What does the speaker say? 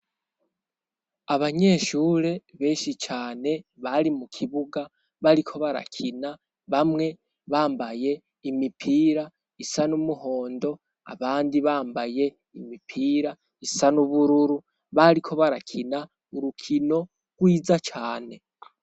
Abanyeshure beshi cane bari mu kibuga bariko barakina bamwe bambaye imipira isa n'umuhondo abandi bambaye imipira isa n'ubururu bariko barakina urukino rwiza cane.